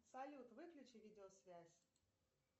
салют выключи видеосвязь